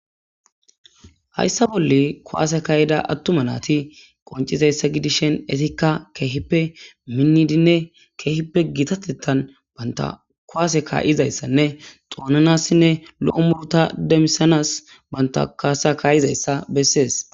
Haysa bolla kuwase ka'ida atuma nat qoncidayta gidishn izka kehippe minidine gitatetan banta kuwase ka'zaysanne xonanasines lo'o muruta demisanas ka'izaysa beses.